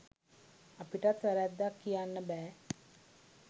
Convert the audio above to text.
අපිටත් වැරැද්දක් කියන්න බෑ